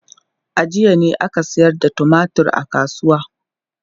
A jiya ne aka sayar da tumatur a kasuwa.